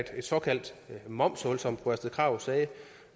et såkaldt momshul som fru astrid krag sagde